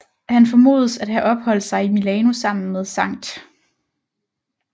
Han formodes at have opholdt sig i Milano sammen med Skt